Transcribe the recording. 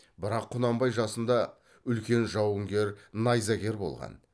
бірақ құнанбай жасында үлкен жауынгер найзагер болған